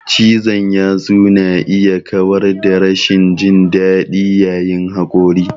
Cizon yatsu na iya kawar da rashin jin daɗi yayin haƙori.